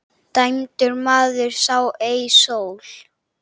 Dæmdur maður sá ei sól.